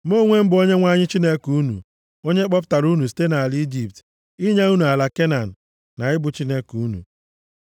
Mụ onwe m bụ Onyenwe anyị Chineke unu, onye kpọpụtara unu site nʼala Ijipt, inye unu ala Kenan, na ị bụ Chineke unu.